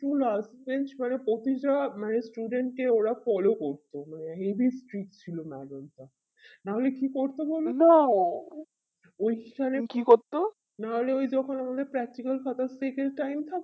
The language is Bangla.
কিন্তু last bench করে প্রতিটা মানে student টি ওরা follow করতো মানে heavy street ছিল madam টা নাহলে কি করতো বোলো তো ওই সালে নাহলে ওই যখন আমাদের practical খাতা time থাক